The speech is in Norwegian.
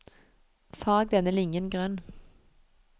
Farg denne linjen grønn